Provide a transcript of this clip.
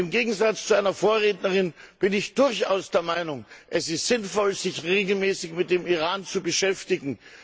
Im Gegensatz zu einer Vorrednerin bin ich durchaus der Meinung, dass es sinnvoll ist, sich regelmäßig mit dem Iran zu beschäftigen.